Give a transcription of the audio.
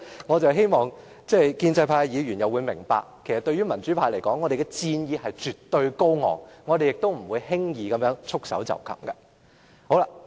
我希望建制派議員明白，對於民主派而言，我們戰意絕對高昂，不會輕易束手待斃。